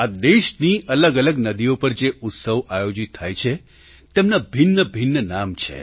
આ દેશની અલગઅલગ નદીઓ પર જે ઉત્સવ આયોજિત થાય છે તેમનાં ભિન્નભિન્ન નામ છે